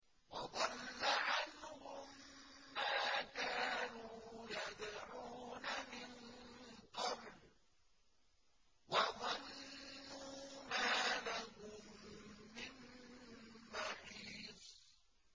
وَضَلَّ عَنْهُم مَّا كَانُوا يَدْعُونَ مِن قَبْلُ ۖ وَظَنُّوا مَا لَهُم مِّن مَّحِيصٍ